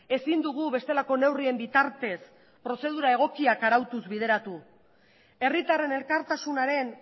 ezin dugu bestelako neurrien bitartez prozedura egokiak arautuz bideratu herritarren elkartasunaren